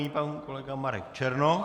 Nyní pan kolega Marek Černoch.